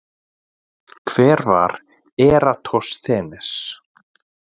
Hver var Eratosþenes?